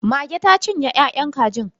Mage ta cinye ya'yan kajin.